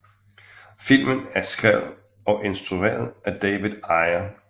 Filmen er skrevet og instrueret af David Ayer